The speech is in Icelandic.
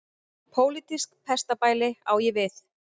Pólitískt pestarbæli á ég við.